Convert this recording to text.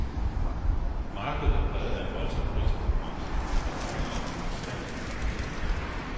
Markedet er præget af voldsom priskonkurrence, hvor forhandlere konstant underbyder hinanden.